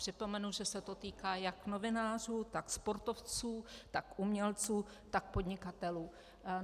Připomenu, že se to týká jak novinářů, tak sportovců, tak umělců, tak podnikatelů.